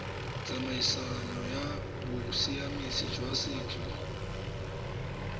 tsamaisong ya bosiamisi jwa setso